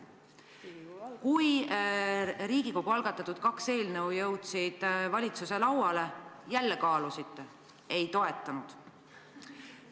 Kui Riigikogu algatatud kaks eelnõu jõudsid valitsuse lauale, jälle kaalusite, ei toetanud.